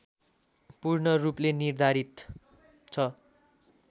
पूर्ण रूपले निर्धारित छ